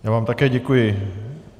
Já vám také děkuji.